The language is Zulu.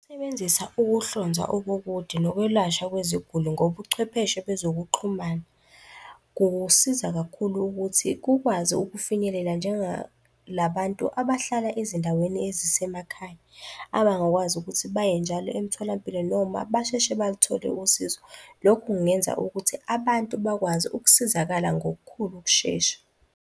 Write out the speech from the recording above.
Ukusebenzisa ukuhlonzwa okukude nokwelashwa kweziguli ngobuchwepheshe bezokuxhumana, kusiza kakhulu ukuthi kukwazi ukufinyelela, njengalabantu abahlala ezindaweni ezisemakhaya abangakwazi ukuthi baye njalo emtholampilo noma basheshe baluthole usizo. Lokhu kungenza ukuthi abantu bakwazi ukusizakala ngokukhulu ukushesha.